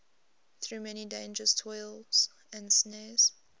through many dangers toils and snares